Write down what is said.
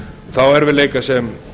þá erfiðleika sem